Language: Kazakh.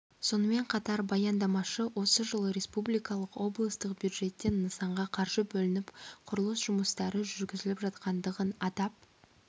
сонымен қатар баяндамашы осы жылы республикалық облыстық бюджеттен нысанға қаржы бөлініп құрылыс жұмыстары жүргізіліп жатқандығын атап